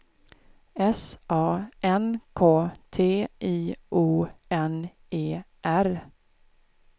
S A N K T I O N E R